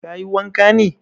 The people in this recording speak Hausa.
Ka yi wanka ne?